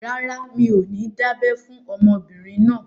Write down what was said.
Rárá, mi ò ní dábẹ́ fún ọmọbìnrin náà